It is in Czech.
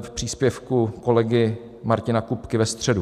v příspěvku kolegy Martina Kupky ve středu.